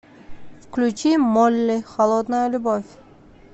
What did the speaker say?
включи молли холодная любовь